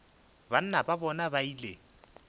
banna ba bona ba ile